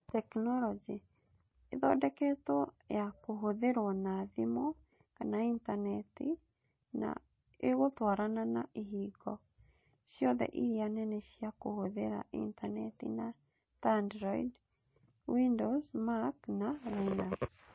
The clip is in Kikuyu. Tekinoronjĩ: Ĩthondeketwo ya kũhũthĩrwo na thimũ kana intaneti, na ĩgũtwarana na ĩhingo ciothe iria nene cia kũhũthĩra intaneti ta Android, Windows, Mac, na Linux.